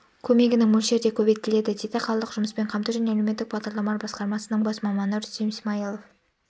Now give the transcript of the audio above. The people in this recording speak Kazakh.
көмегінің мөлшері де көбейтіледі дейді қалалық жұмыспен қамту және әлеуметтік бағдарламалар басқармасының бас маманы рүстем исмаилов